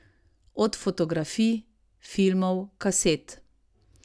Od fotografij, filmov, kaset ...